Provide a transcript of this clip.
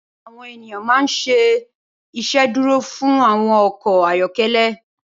Awòn éniyàn mà n ṣé Ìṣédùró fún áwòn ọkọ ayọkẹlẹ